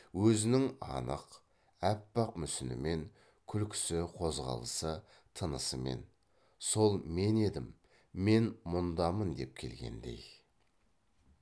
өзінің анық аппақ мүсінімен күлкісі қозғалысы тынысымен сол мен едім мен мұндамын деп келгендей